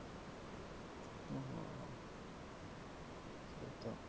ও এই তো